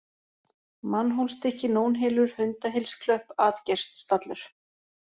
Mannhólsstykki, Nónhylur, Hundahylsklöpp, Atgeirsstallur